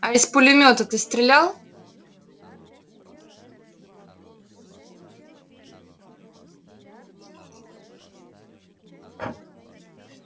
а из пулемёта ты стрелял